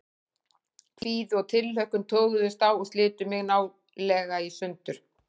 Kvíði og tilhlökkun toguðust á og slitu mig nálega í sundur.